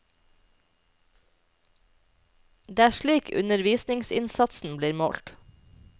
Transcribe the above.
Det er slik undervisningsinnsatsen blir målt.